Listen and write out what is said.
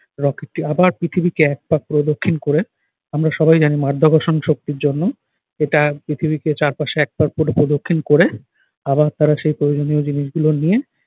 rocket টি আবার পৃথিবীকে এক পাক প্রদক্ষিণ করে, আমরা সবাই জানি যে মাধ্যাকর্ষণ শক্তির জন্য এটা পৃথিবীকে চারপাশে এক পাক পুরো প্রদক্ষিণ করে আবার তারা সেই প্রয়োজনীয় জিনিসগুলো নিয়ে